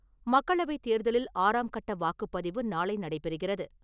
மக்களவைத் தேர்தலில் ஆறாம் கட்ட வாக்குப்பதிவு நாளை நடைபெறுகிறது.